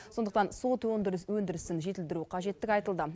сондықтан сот өндірісін жетілдіру қажеттігі айтылды